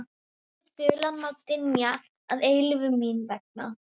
Vælandi þulan má dynja að eilífu mín vegna.